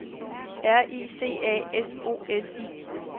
R I C A S O L I